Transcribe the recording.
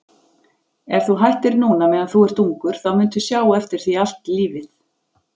Ef þú hættir núna meðan þú ert ungur þá muntu sjá eftir því allt lífið.